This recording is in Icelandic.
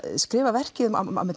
skrifa verkið